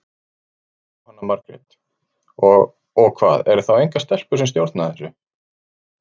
Jóhanna Margrét: Og, og hvað, eru þá engar stelpur sem stjórna þessu?